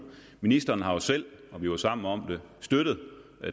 ministeren har jo selv og vi var sammen om det støttet